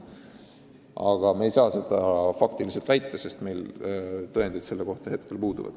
Aga me ei saa seda kindlalt väita, sest tõendid selle kohta puuduvad.